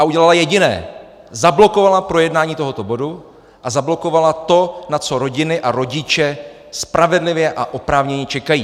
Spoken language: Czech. A udělala jediné: zablokovala projednání tohoto bodu a zablokovala to, na co rodiny a rodiče spravedlivě a oprávněně čekají.